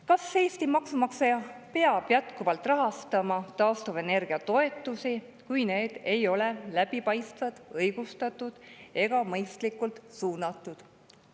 Kas Eesti maksumaksja peab jätkuvalt rahastama taastuvenergia toetusi, kui need ei ole läbipaistvad, õigustatud ega mõistlikult suunatud?